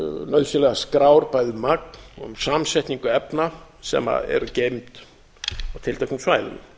nauðsynlegar skrár bæði um magn og samsetningu efna sem eru geymd á tilteknum svæðum